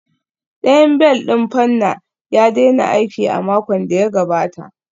Ɗayan bel ɗin fanna ya daina aiki a makon da ya gabata